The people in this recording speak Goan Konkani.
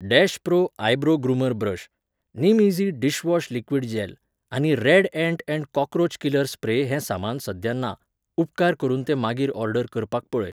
Dash pro eyebrow groomer brush, निमईझी डिशवॉश लिक्विड जॅल आनी red ant and cockroach killer spray हें सामान सध्या ना, उपकार करून तें मागीर ऑर्डर करपाक पळय.